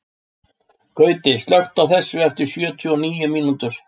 Gauti, slökktu á þessu eftir sjötíu og níu mínútur.